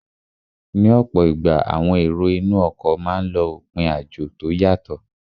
Ní ọ̀pọ̀ ìgbà, àwọn èrò inú ọkọ̀ máa n lọ òpin àjò tó yàtọ